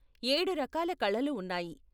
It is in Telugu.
ఏడు రకాల కళలు ఉన్నాయి.